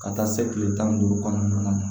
Ka taa se kile tan ni duuru kɔnɔna na